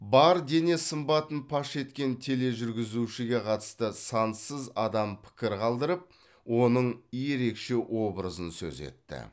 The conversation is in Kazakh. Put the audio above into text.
бар дене сымбатын паш еткен тележүргізушіге қатысты сансыз адам пікір қалдырып оның ерекше образын сөз етті